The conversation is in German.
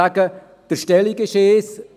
Man könnte so vorgehen: